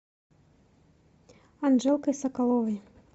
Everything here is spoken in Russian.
анжелкой соколовой